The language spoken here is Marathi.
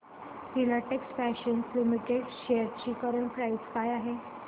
फिलाटेक्स फॅशन्स लिमिटेड शेअर्स ची करंट प्राइस काय आहे